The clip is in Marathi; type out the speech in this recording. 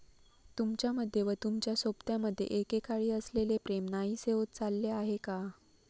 तुमच्यामध्ये व तुमच्या सोबत्यामध्ये एकेकाळी असलेले प्रेम नाहीसे होत चालले आहे का?